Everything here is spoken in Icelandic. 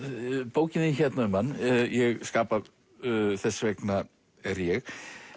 bókin þín hérna um hann ég skapa þess vegna er ég